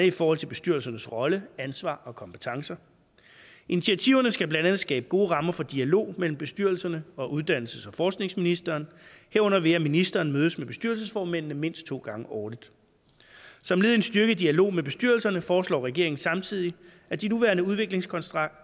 i forhold til bestyrelsernes rolle ansvar og kompetencer initiativerne skal blandt andet skabe gode rammer for dialog mellem bestyrelserne og uddannelses og forskningsministeren herunder ved at ministeren mødes med bestyrelsesformændene mindst to gange årligt som led i en styrket dialog med bestyrelserne foreslår regeringen samtidig at de nuværende udviklingskontrakter